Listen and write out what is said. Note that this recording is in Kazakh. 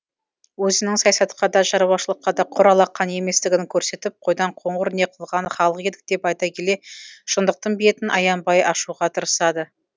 өзінің саясатқа да шаруашылыққа да құр алақан еместігін көрсетіп қойдан қоңыр не қылған халық едік деп айта келе шыңдықтың бетін аянбай ашуға тырысады